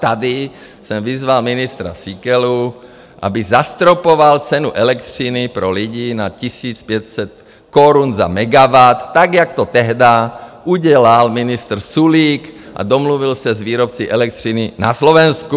Tady jsem vyzval ministra Síkelu, aby zastropoval cenu elektřiny pro lidi na 1500 korun za megawatt, tak jak to tehdy udělal ministr Sulík a domluvil se s výrobci elektřiny na Slovensku.